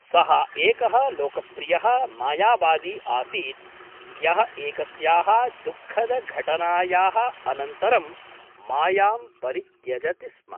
सः एकः लोकप्रियः मायावादी आसीत् यः एकस्याः दुःखदघटनायाः अनन्तरं मायां परित्यजति स्म ।